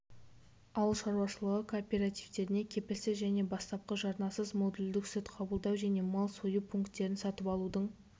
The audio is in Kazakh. ауыл шаруашылығы кооперативтеріне кепілсіз және бастапқы жарнасыз модульдік сүт қабылдау және мал сою пункттерін сатып алудың